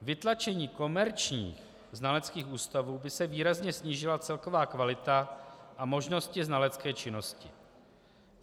Vytlačením komerčních znaleckých ústavů by se výrazně snížila celková kvalita a možnosti znalecké činnosti.